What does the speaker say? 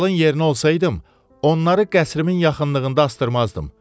Kralın yerinə olsaydım, onları qəsrimin yaxınlığında asdırmazdım.